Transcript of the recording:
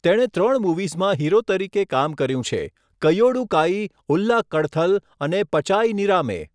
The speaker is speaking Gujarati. તેણે ત્રણ મૂવીઝમાં હીરો તરીકે કામ કર્યું છે, 'કૈયોડુ કાઈ', 'ઉલ્લા કડથલ' અને 'પચાઈ નિરામે'.